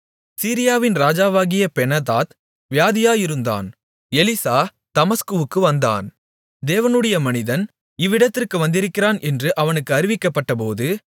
சீரியாவின் ராஜாவாகிய பெனாதாத் வியாதியாயிருந்தான் எலிசா தமஸ்குவுக்கு வந்தான் தேவனுடைய மனிதன் இவ்விடத்திற்கு வந்திருக்கிறான் என்று அவனுக்கு அறிவிக்கப்பட்டபோது